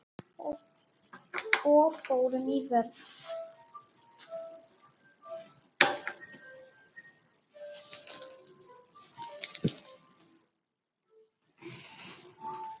Og fórum í vörn.